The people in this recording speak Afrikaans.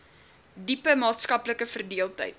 diepe maatskaplike verdeeldheid